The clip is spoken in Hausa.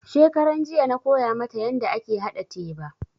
Shekaranjiya na koya mata yanda ake haɗa teba